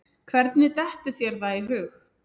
Hvernig dettur þér það í hug?